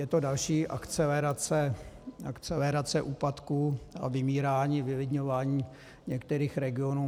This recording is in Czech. Je to další akcelerace úpadku a vymírání, vylidňování některých regionů.